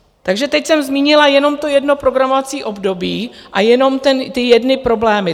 Takže teď jsem zmínila jenom to jedno programovací období a jenom ty jedny problémy.